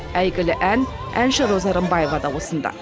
әйгілі ән әнші роза рымбаева да осында